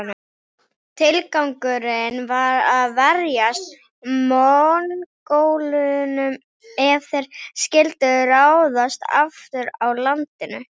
Tilgangurinn var að verjast Mongólunum ef þeir skyldu ráðast aftur að landinu.